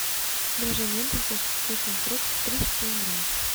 драже ментос со вкусом фруктов тридцать семь грамм